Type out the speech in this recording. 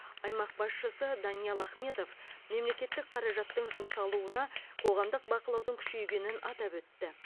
аймақ басшысы даниал ахметов мемлекеттік қаражаттың жұмсалуына қоғамдық бақылаудың күшейгенін атап өтті